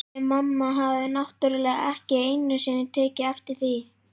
Þið mamma hafið náttúrlega ekki einu sinni tekið eftir því.